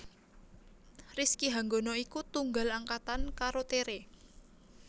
Rizky Hanggono iku tunggal angkatan karo Tere